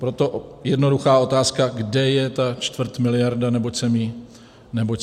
Proto jednoduchá otázka, kde je ta čtvrtmiliarda, neboť jsem ji nenašel.